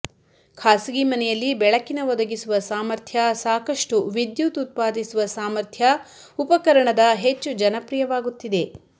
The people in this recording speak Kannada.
ಖಾಸಗಿ ಮನೆಯಲ್ಲಿ ಬೆಳಕಿನ ಒದಗಿಸುವ ಸಾಮರ್ಥ್ಯ ಸಾಕಷ್ಟು ವಿದ್ಯುತ್ ಉತ್ಪಾದಿಸುವ ಸಾಮರ್ಥ್ಯ ಉಪಕರಣದ ಹೆಚ್ಚು ಜನಪ್ರಿಯವಾಗುತ್ತಿದೆ